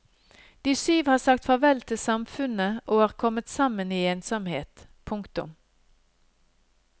De syv har sagt farvel til samfunnet og er kommet sammen i ensomhet. punktum